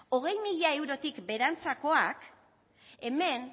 hogei mila eurotik beherantzakoak hemen